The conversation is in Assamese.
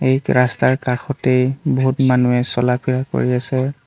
ঠিক ৰাস্তাৰ কাষতেই বহুত মানুহে চলা ফিৰা কৰি আছে।